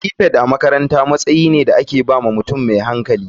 Prefect makaranta matsayi ne da aka ba wa mutum mai hankali.